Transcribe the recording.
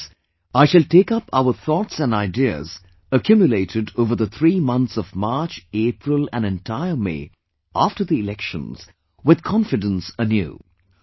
This means I shall take up our thoughts and ideas accumulated over the three months of March, April & entire May after the Elections, with confidence anew